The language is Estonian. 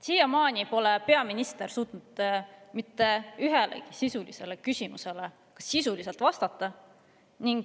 Siiamaani pole peaminister suutnud mitte ühelegi meie küsimusele sisuliselt vastata.